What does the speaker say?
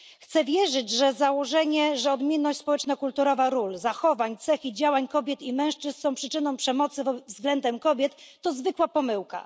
Chcę wierzyć, że założenie, że odmienność społeczno kulturowa ról, zachowań, cech i działań kobiet i mężczyzn są przyczyną przemocy względem kobiet, to zwykła pomyłka.